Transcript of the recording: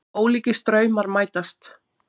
Ólíkir straumar mætast